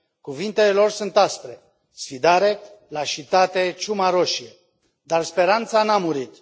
Cuvintele lor sunt aspre sfidare, lașitate, ciuma roșie. Dar speranța n a murit.